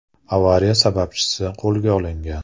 Avariya sababchisi qo‘lga olingan.